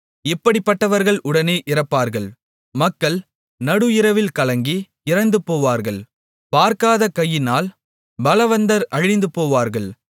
இப்படிப்பட்டவர்கள் உடனே இறப்பார்கள் மக்கள் நடுஇரவில் கலங்கி இறந்துபோவார்கள் பார்க்காத கையினால் பலவந்தர் அழிந்துபோவார்கள்